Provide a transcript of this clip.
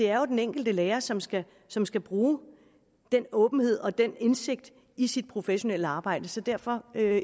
er den enkelte lærer som skal som skal bruge den åbenhed og den indsigt i sit professionelle arbejde så derfor er